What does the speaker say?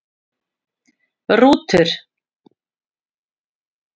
Rútur